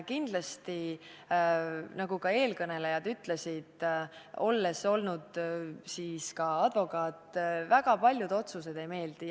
Kindlasti, nagu ka eelkõnelejad ütlesid, väga paljud otsused ei meeldi.